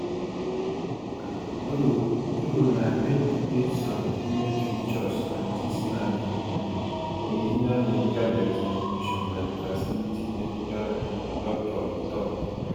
though though na male e get some female features and dis na di um original medical examination by di facility medical um doctor e tok